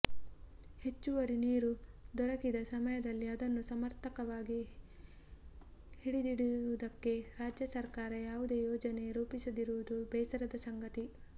ಹೆಚ್ಚುವರಿ ನೀರು ದೊರಕಿದ ಸಮಯದಲ್ಲಿ ಅದನ್ನು ಸಮರ್ಥವಾಗಿ ಹಿಡಿದಿಡುವುದಕ್ಕೆ ರಾಜ್ಯ ಸರ್ಕಾರ ಯಾವುದೇ ಯೋಜನೆ ರೂಪಿಸದಿರುವುದು ಬೇಸರದ ಸಂಗತಿ